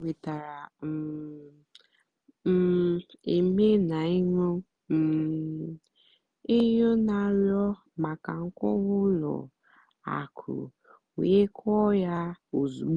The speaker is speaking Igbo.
énwètárá um m éméel nà-ènyó um ènyó nà-àrịọ́ màkà nkọ́wá ùlọ àkụ́ wéé kọ́ọ́ yá ózùgbó.